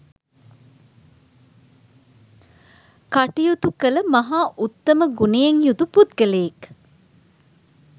කටයුතු කල මහා උත්තම ගුණයෙන් යුතු පුද්ගලයෙක්